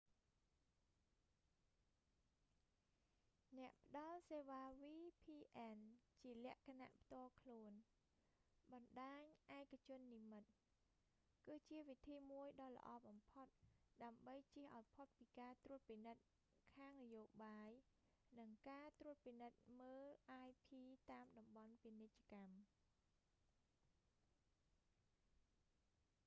អ្នកផ្តល់សេវា vpn ជាលក្ខណៈផ្ទាល់ខ្លួន បណ្តាញឯកជននិម្មិត គឺជាវិធីមួយដ៏ល្អបំផុត ដើម្បីចៀសឱ្យផុតពីការត្រួតពិនិត្យខាងនយោបាយ និងការត្រួតពិនិត្យមើល ip តាមតំបន់ពាណិជ្ជកម្ម